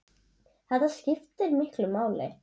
Þetta skiptir miklu máli.